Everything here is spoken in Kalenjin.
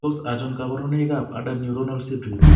Tos achon kabarunaik ab Adult neuronal ceroid ?